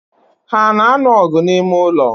Ha ano anu ogu na ime-ulo?